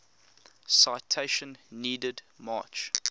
citation needed march